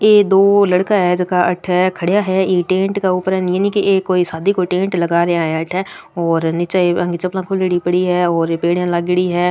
ये दो लड़का है जोका अठे खड़िया है ई टेंट के ऊपर कोई नी शादी को टेंट लगा रिया है अठे और नीचे उनकी चप्पला खुलेयादि पड़ीं है और पेडिया लागेड़ी है।